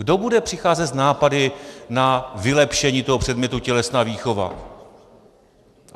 Kdo bude přicházet s nápady na vylepšení toho předmětu tělesná výchova?